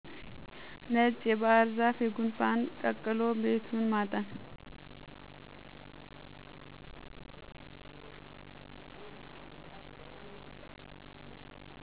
ነጭ ባህርዛፍ የጉንፋን ቀቅሎ ቤቱን ማጠን